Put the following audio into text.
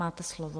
Máte slovo.